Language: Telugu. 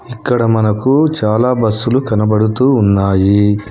ఇక్కడ మనకు చాలా బస్సులు కనబడుతూ ఉన్నాయి.